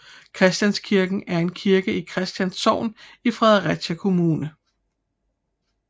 Christianskirken er en kirke i Christians Sogn i Fredericia Kommune